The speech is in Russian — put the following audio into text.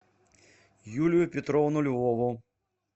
юлию петровну львову